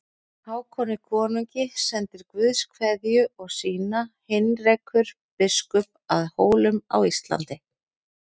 Hákoni konungi sendir Guðs kveðju og sína Heinrekur biskup að Hólum á Íslandi.